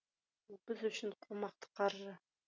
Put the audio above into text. біз үшін қомақты қаржы